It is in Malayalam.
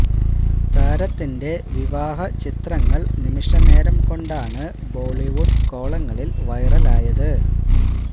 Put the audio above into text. താരത്തിന്റെ വിവാഹ ചിത്രങ്ങൾ നിമിഷ നേരം കൊണ്ടാണ് ബോളിവുഡ് കോളങ്ങളിൽ വൈറലായത്